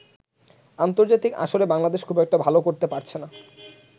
আন্তর্জাতিক আসরে বাংলাদেশ খুব একটা ভালো করতে পারছেনা।